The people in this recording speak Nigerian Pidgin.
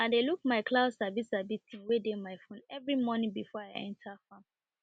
i dey look my cloud sabi sabi thing wey dey my phone every morning before i enter farm